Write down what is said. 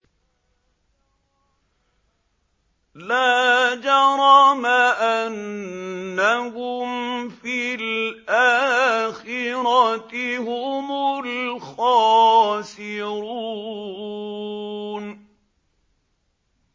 لَا جَرَمَ أَنَّهُمْ فِي الْآخِرَةِ هُمُ الْخَاسِرُونَ